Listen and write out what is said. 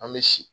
An bɛ si